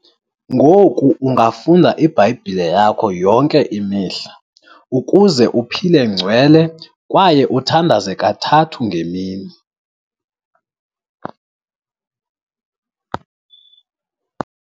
Ngoku ungafunda iBhayibhile yakho yonke imihla ukuze uphile ngcwele kwaye uthandaze kathathu ngemini.